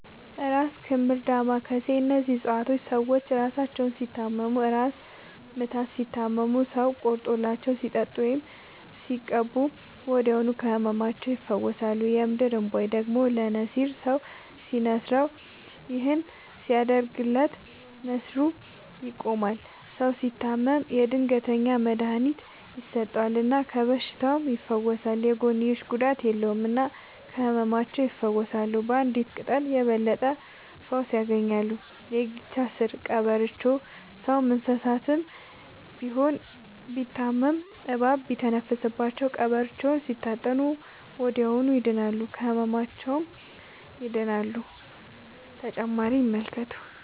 እራስ ክምር ዳማ ከሴ እነዚህ ፅፀዋቶች ሰዎች እራሳቸውን ሲታመሙ እራስ ምታት ሲታመሙ ሰው ቆርጦላቸው ሲጠጡት ወይም ሲቀቡ ወዲያውኑ ከህመማቸው ይፈወሳሉ። የምድር እንቧይ ደግሞ ለነሲር ሰው ሲንስረው ይህን ሲያደርግለት ነሲሩ ይቆማል። ሰው ሲታመም የድንገተኛ መድሀኒት ይሰጠል እና ከበሽታውም ይፈወሳል። የጎንዮሽ ጉዳት የለውም እና ከህመማቸው ይፈውሳሉ ባንዲት ቅጠል የበለጠ ፈውስ ያገኛሉ። የጊቻ ስር ቀበሮቾ ሰውም እንሰሳም ቢሆን ቢታመሙ እባብ ሲተነፍስባቸው ቀብሮቾውን ሲታጠኑ ወደዚያውኑ ይድናሉ። ከህመማቸው ይድናሉ…ተጨማሪ ይመልከቱ